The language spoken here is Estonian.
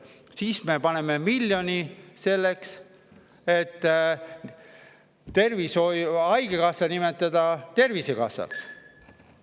Siis me paneme miljoni selle alla, et nimetada haigekassa ümber Tervisekassaks.